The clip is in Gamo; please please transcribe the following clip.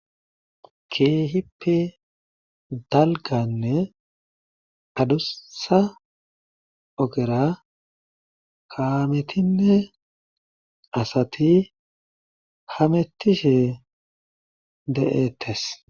Keehippe dalgganne adussa ogera kaametinne asati hemettishe de7eettes.